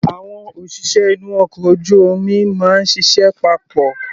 Àwọn òṣìṣẹ́ inú ọkọ̀ ojú omi máa ń ṣiṣẹ́ papọ̀.